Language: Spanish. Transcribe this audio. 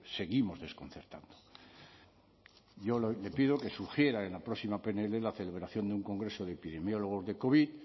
seguimos desconcertando yo le pido que sugiera en la próxima pnl la celebración de un congreso de epidemiólogos de covid